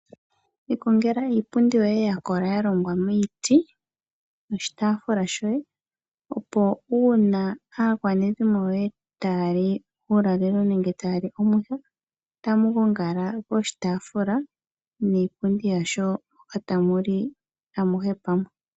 Iikongela iipundi yoye yakola yalongwa miiti noshitaafula shoye opo uuna aakwanezimo lyoe tayali uulalelo nenge tayali omwiha otamu gongala poshitaafula niipundi yasho etamu li amuhe pamwe.